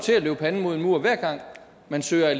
man ser